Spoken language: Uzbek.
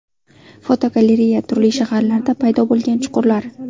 Fotogalereya: Turli shaharlarda paydo bo‘lgan chuqurlar.